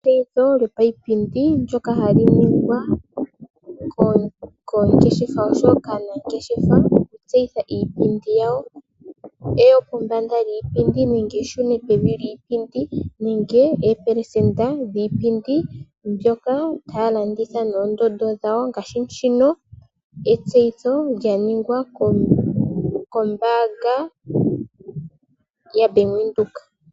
Etseyitho lyopayipindi ndoka haliningwa kongeshefa oshowo kaanangeshef, okutseyitja iipindi yawo, eyo pombanda lyipindi nenge eshuno pevi lyipind nenge epelesenda dhipindi mbyoka tayalongitha nondondo dhawo ngashi shino, etseyitho lyaningwa kombanga ya bank Windhoek.